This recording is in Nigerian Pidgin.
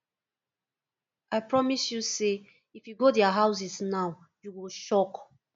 i promise you say if you go their houses now you go shock